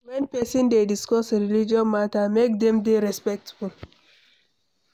When person dey discuss religious matter, make dem dey respectful